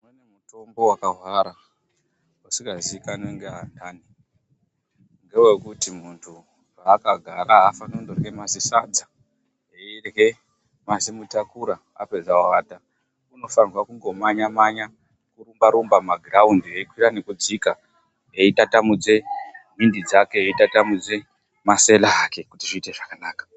Kune mutombo wakahwara usikaziikanwi ngeandani, ngewekuti muntu akagara afani kundorye mazisadza, veyirye mazimutakura apedza ovata. Unofanirwe kungomanya-manya, nokurumba-rumba mumagiraundi eyi kwira nokudzika, eyitatamudze mbindi dzake, eyi tatamudze masele ake kuti zviite zvakanaka.